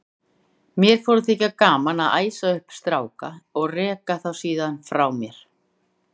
Mér fór að þykja gaman að æsa upp stráka og reka þá síðan frá mér.